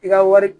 I ka wari